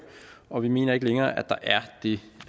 og vi mener ikke længere at der er det